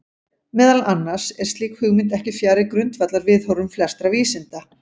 Meðal annars er slík hugmynd ekki fjarri grundvallarviðhorfum flestra vísinda.